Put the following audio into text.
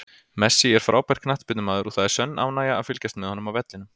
Messi er frábær knattspyrnumaður og það er sönn ánægja að fylgjast með honum á vellinum.